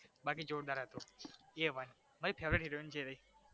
બાકી જોરદાર હતો a one heroine જેવી